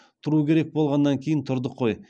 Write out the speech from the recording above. тұру керек болғаннан кейін тұрдық қой